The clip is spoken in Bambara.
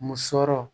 Musɔrɔ